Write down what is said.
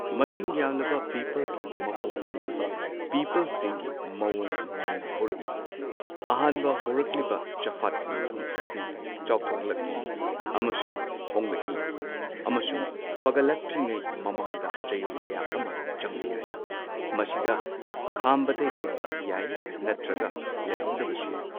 ꯃꯁꯤꯡ ꯌꯥꯝꯂꯕ ꯄꯤꯄꯜꯒꯤ ꯃꯀꯣꯛꯀꯨꯝꯂꯕ ꯄꯤꯄꯜꯁꯤꯡꯒꯤ ꯃꯑꯣꯡ ꯃꯥꯟꯅ ꯍꯧꯔꯛꯏ, ꯑꯍꯥꯟꯕ ꯍꯧꯔꯛꯂꯤꯕ ꯆꯐꯥꯠꯄ ꯃꯐꯝ ꯑꯁꯤ ꯆꯥꯎꯊꯣꯛꯂꯛꯏ ꯑꯃꯁꯨꯡ ꯍꯣꯡꯂꯛꯏ, ꯑꯃꯁꯨꯡ ꯐꯒꯠꯂꯛꯇ꯭ꯔꯤꯉꯩ ꯃꯃꯥꯡꯗ ꯆꯌꯣꯜ ꯀꯌꯥ ꯑꯃ ꯆꯪꯕ ꯌꯥꯏ, ꯃꯁꯤꯗ ꯈꯥꯝꯕꯗ ꯂꯩꯕ ꯌꯥꯏ ꯅꯠꯇ꯭ꯔꯒ ꯂꯩꯍꯧꯗꯕꯁꯨ ꯌꯥꯏ꯫